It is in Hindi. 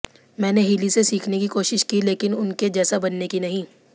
मैंने हिली से सीखने की कोशिश की लेकिन उनके जैसा बनने की नहीं